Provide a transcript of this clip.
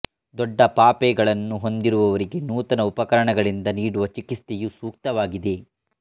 ದೊಡ್ಡ ಪಾಪೆಗಳನ್ನು ಹೊಂದಿರುವವರಿಗೆ ನೂತನ ಉಪಕರಣಗಳಿಂದ ನೀಡುವ ಚಿಕಿತ್ಸೆಯು ಸೂಕ್ತವಾಗಿದೆ